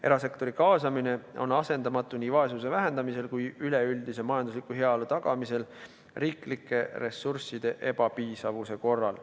Erasektori kaasamine on asendamatu nii vaesuse vähendamisel kui ka üleüldise majandusliku heaolu tagamisel riiklike ressursside ebapiisavuse korral.